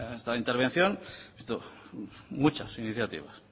esta intervención muchas iniciativas